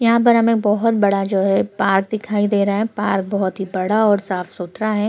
यहाँ पे हमे बोहोत बड़ा जो है पार्क दिखाई दे रहा है पार्क बोहोत ही बड़ा और साफ सुथरा है।